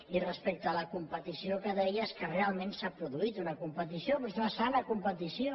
i respecte a la competició que deia és que realment s’ha produït una competició però és una sana competició